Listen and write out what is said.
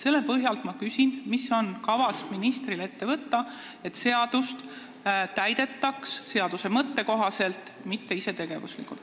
Selle põhjal ma küsin, mis on ministril kavas ette võtta, et seadust täidetaks seaduse mõtte kohaselt, mitte isetegevuslikult.